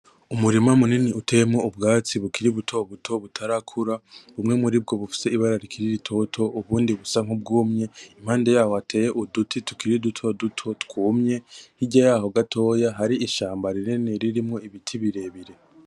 Umurima munini uteyemwo ubwatsi bukiri butobuto butarakura, bumwe muribwo bufise ibara rikiri ritoto ubundi butarakura, impande yaho hateye uduti tukiri dutoduto twumye hirya yaho gatoye hari ishamba rinini ririmwo ibiti birebire.